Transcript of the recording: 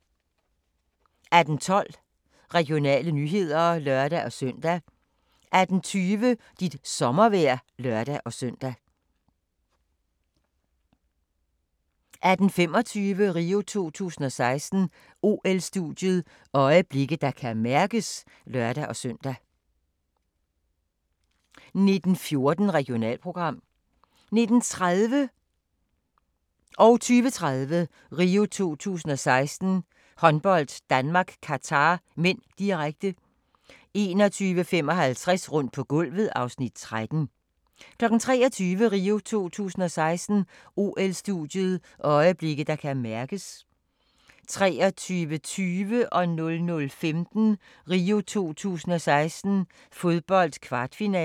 18:12: Regionale nyheder (lør-søn) 18:20: Dit sommervejr (lør-søn) 18:25: RIO 2016: OL-studiet – øjeblikke, der kan mærkes (lør-søn) 19:14: Regionalprogram 19:30: RIO 2016: Håndbold - Danmark-Qatar (m), direkte 20:30: RIO 2016: Håndbold - Danmark-Qatar (m), direkte 21:55: Rundt på gulvet (Afs. 13) 23:00: RIO 2016: OL-studiet – øjeblikke, der kan mærkes 23:20: RIO 2016: Fodbold - kvartfinale 00:15: RIO 2016: Fodbold - kvartfinale